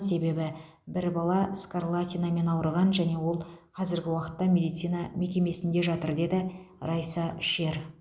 себебі бір бала скарлатинамен ауырған және ол қазіргі уақытта медицина мекемесінде жатыр деді райса шер